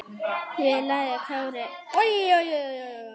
Við lagi Kári skildi brá.